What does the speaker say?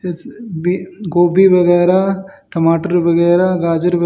जैसे भी गोभी वगैरा टमाटर वगैरा गाजर --